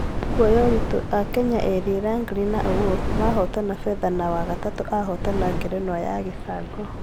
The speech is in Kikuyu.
Kũoya ũritũ: akenya erĩ langley na awuor mahotana fedha na wagatatũ ahotana ngerenwa ya gĩcango